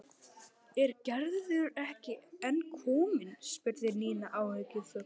Er Gerður ekki enn komin? spurði Nína áhyggjufull.